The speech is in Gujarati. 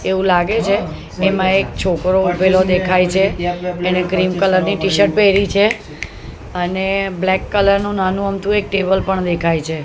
એવું લાગે છે એમાં એક છોકરો ઉભેલો દેખાય છે એણે ગ્રીન કલર ની ટીશર્ટ પેયરી છે અને બ્લેક કલર નું નાનું અમથું એક ટેબલ પણ દેખાય છે.